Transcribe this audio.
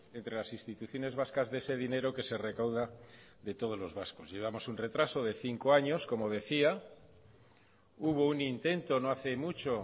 entre las instituciones vascas de ese dinero que se recauda de todos los vascos llevamos un retraso de cinco años como decía hubo un intento no hace mucho